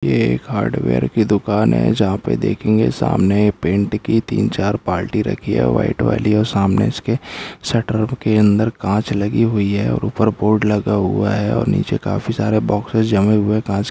ये एक हार्डवेर की दुकान है जहाँ पे देखेंगे सामने पेन्ट की तीन चार बाल्टी रखी है व्हाइट वाली और सामने इसके शटर के अंदर काँच लगा हुआ है और ऊपर बोर्ड लगा हुआ है और नीचे काफी सारे बोक्सेस जमे हुए हैं कांच --